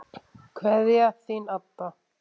Kveðja, Þín Adda.